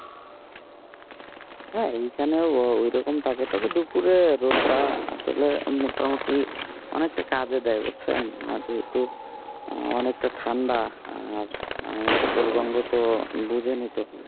হ্যাঁ এখানেও ঐরকম থাকে তবে দুপুরে রোদটা আসলে মোটামুটি অনেকটা কাজে দেয় বুঝছেন যেহেতু অনেকটা ঠান্ডা আর উত্তরবঙ্গ তো বুঝেন ই তো।